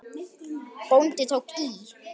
Bóndi tók í.